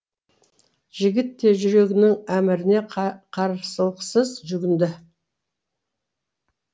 жігіт те жүрегінің әміріне қарсылықсыз жүгінді